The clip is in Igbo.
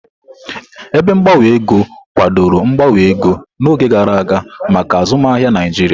Ebe gbanwe ego kwadoro mgbanwe ego n'oge gara aga maka azụmaahịa Naijiria.